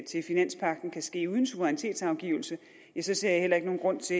til finanspagten kan ske uden suverænitetsafgivelse ja så ser jeg heller ikke nogen grund til